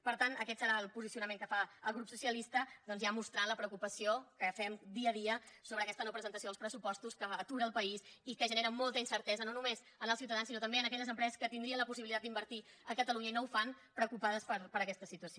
per tant aquest serà el posicionament que fa el grup socialista doncs ja mostrant la preocupació que fem dia a dia sobre aquesta no presentació dels pressupostos que atura el país i que genera molta incertesa no només en els ciutadans sinó també en aquelles empreses que tindrien la possibilitat d’invertir a catalunya i no ho fan preocupades per aquesta situació